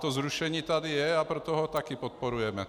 To zrušení tady je, a proto to také podporujeme.